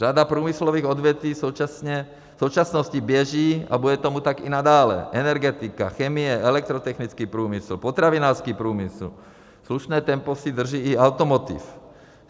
Řada průmyslových odvětví v současnosti běží a bude tomu tak i nadále, energetika, chemie, elektrotechnický průmysl, potravinářský průmysl, slušné tempo si drží i automotiv.